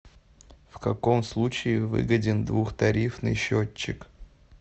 в каком случае выгоден двухтарифный счетчик